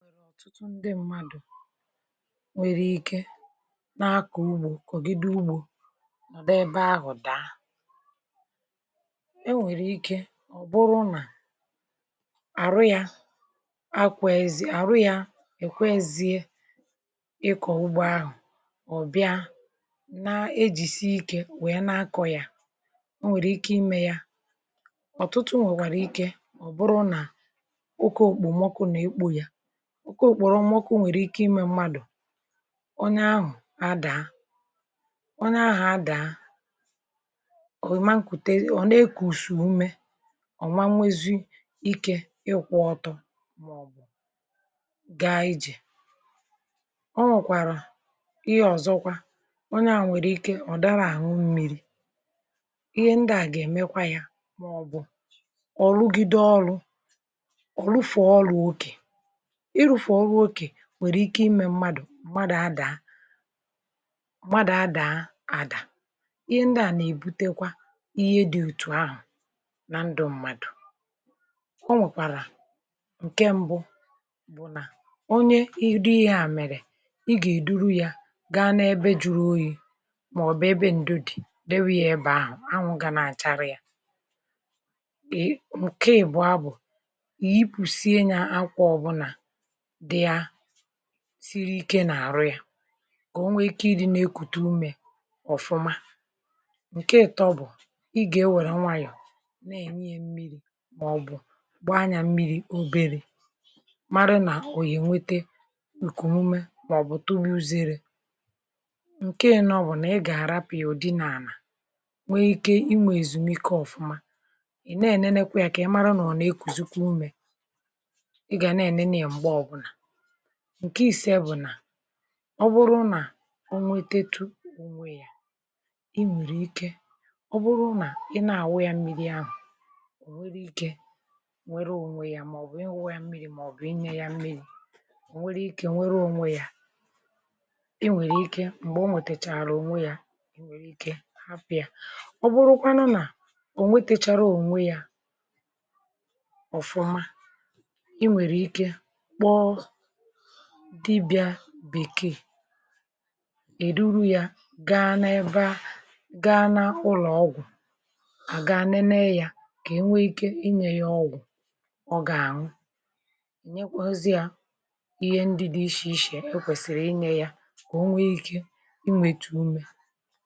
nà ya nwèrè ọ̀tụtụ osisi anà-àwụsa n’ugbȯ kà ọ wèe nwee ikė m̀gbè a gà-akọ̀ ugbȯ kà ọ wèe mee ọ̀fụma ǹke ìzìzì bụ̀ daghwanye elu̇ osisi daghwanye elu̇ ịwụsa ahịhịa n’ime ugbȯ ọ nà-ènyere ugbȯ akȧ ịmȧ ọ̀fụma urù ànyị nà-ènwete nị̀ ya bụ̀ nà iwụsacha anyȧ ọ nà-àma mmȧ n’ugbȯ màndị̀ ọ nà-àchụ gasị ụmụ̀ arụ riri ịshì ịshè n’ime ugbȯ ahụ̀ ọ̀zọkwa ǹke àbụrụ anya bụ̀ akwụkwọ muri ngà muri ngà ahụ̀ nà-àdị karịkari awụsacha anyȧ n’ime ụgbọ̇ ọ nà-ènyekwa akȧ n’ugbȯ ọ nà-èmekwa kà nà-àdị mmȧ ọ nà-ènyekwalu ọ nà-ènyere anyị aka kà anà sie ikė nwekwa ikė ịkọ̀ ọwụkwọ ahụ̀ ugbo ahụ̀ na-èto ọ̀fụma akwụkwọ akwụkwọ unènè maọ̀bụ̀ ogbè unènè o nwè unènè akwụkwọ unènè na-àma mmȧ n’ugbȯ ịwụsacha nya ebècha awụsị à n’ụlọ̀ ugbȯ ọ nà-ènyere ugbȯ aka urù ànyi nà-ènwete n’ya bụ̀ nà ọ nà-ème kà ànaani dị̇ mmȧ nwekwara ikė ịkọ̀ ya ọ̀zọ akwụkwọ akpọ ǹkọ̀lọ̀ ọ̀tụtụ ndị mmadụ̀ nà-àwụsa akwụkwọ akpọ ǹkọ̀rọ̀ n’ime ugbȯ ọ nà-ènyekwala ànyị aka urù ànyị nà-ènweta ènù ọ nà-ènyekwala ànyị aka nà-àna ahụ̀ à gà-àdị mmȧ ọ̀zọ bụ̀ dịkà ibè ya bụ̀ akwụkwọ akwụkwọ dị̇ ishè ishè ànyị nà-ènwetekwazị nà àyị ànyị nà-èjekwazi àwọ sachakwazị à ebe ahụ̀ akwụkwọ akwụkwọ ojokwu̇ n’ime ugbȯ ọkwụkwọ ojokwu̇ màkwàla mmȧ ọ nà-ènyekwa akȧ ịkọ̀ ọrụ ugbȯ kà o maa ọ̀fụma ọ nwèkwàrà ndị ọ̀zọ na-awụsakwa ọ̀kwụkwọ dị̇ ichè ichè na-enye akȧ akwụkwọ ìfuru ọkwụkwọ ìfuru nà-ènyekwala anyị̇ aka iwu̇sȧkwȧ yà n’ime ugbȯ ọ nà-ènyekwara ugbȯ aka akwụkwọ ụgbọ̀gwụ̀rụ̀ akwụkwọ ụgbọ̀gwụ̀rụ̀ i i krushicha anya ọ bụrụ nà ị chọrọ i ji̇ ère esi ji̇ i nwèrè ike ndị mèbìrì èmebìe jẹwusịa n’ime ugbȯ ọ nà-ènyekwa akȧ kà a na-anyị wèe dị mma